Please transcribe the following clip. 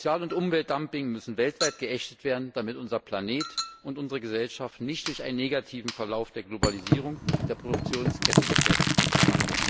Sozial und Umweltdumping müssen weltweit geächtet werden, damit unser Planet und unsere Gesellschaften nicht durch einen negativen Verlauf der Globalisierung der Produktionsketten gefährdet werden.